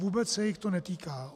Vůbec se jich to netýká.